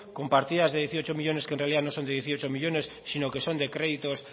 con partidas de dieciocho millónes que en realidad no son de dieciocho millónes sino que son de créditos